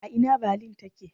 A ina Balin take?